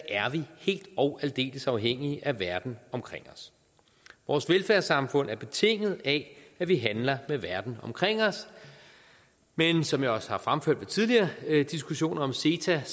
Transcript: er man helt og aldeles afhængig af verden omkring os vores velfærdssamfund er betinget af at vi handler med verden omkring os men som jeg også har fremført ved tidligere diskussioner om ceta